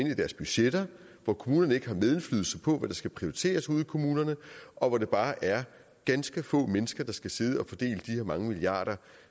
i deres budgetter hvor kommunerne ikke har medindflydelse på hvad der skal prioriteres ude i kommunerne og hvor det bare er ganske få mennesker der skal sidde og fordele de mange milliarder